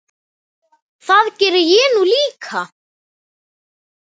Það geri ég nú líka.